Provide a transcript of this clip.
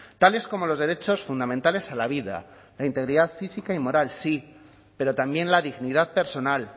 tales como los derechos fundamentales a la vida la integridad física y moral sí pero también la dignidad personal